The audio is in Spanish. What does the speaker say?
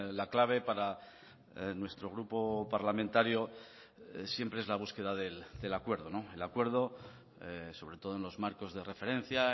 la clave para nuestro grupo parlamentario siempre es la búsqueda del acuerdo el acuerdo sobre todo en los marcos de referencia